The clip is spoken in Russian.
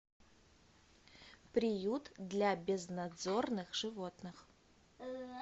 приют для безнадзорных животных